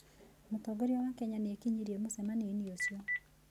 Mũtongoria wa Kenya nĩ ekinyirie mũcemanio-inĩ ũcio.